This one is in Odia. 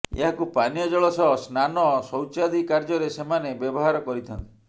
ଏହାକୁ ପାନୀୟ ଜଳ ସହ ସ୍ନାନ ଶୌଚାଦି କାର୍ଯ୍ୟରେ ସେମାନେ ବ୍ୟବହାର କରିଥାନ୍ତି